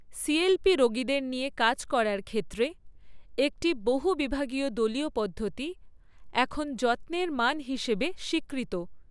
CLP রোগীদের নিয়ে কাজ করার ক্ষেত্রে একটি বহু বিভাগীয় দলীয় পদ্ধতি, এখন যত্নের মান হিসাবে স্বীকৃত।